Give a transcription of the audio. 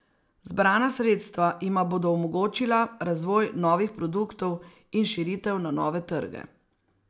Zbrana sredstva jima bodo omogočila razvoj novih produktov in širitev na nove trge.